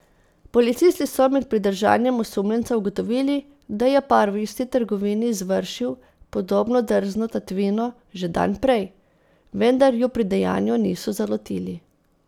Policisti so med pridržanjem osumljenca ugotovili, da je par v isti trgovini izvršil podobno drzno tatvino že dan prej, vendar ju pri dejanju niso zalotili.